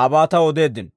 aabaa taw odeeddino.